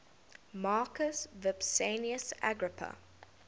marcus vipsanius agrippa